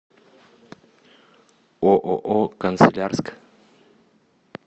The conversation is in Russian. ооо канцелярск